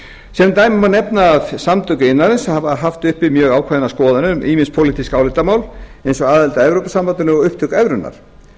sem dæmi má nefna að samtök iðnaðarins hafa haft uppi mjög ákveðnar skoðanir um ýmis pólitísk álitamál eins og aðild að evrópusambandinu og upptöku evrunnar